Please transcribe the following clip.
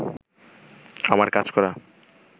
আমার কাজ করা